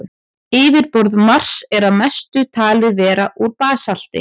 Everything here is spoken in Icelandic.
Yfirborð Mars er að mestu talið vera úr basalti.